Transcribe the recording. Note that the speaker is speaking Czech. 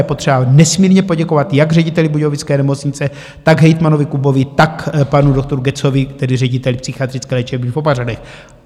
Je potřeba nesmírně poděkovat jak řediteli budějovické nemocnice, tak hejtmanovi Kubovi, tak panu doktoru Goetzovi, tedy řediteli Psychiatrické léčebny v Opařanech.